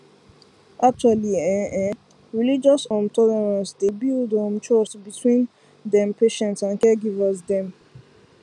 actually ehnnn ehnnn religious um tolerance dy builds um trust between dem patients and caregivers dem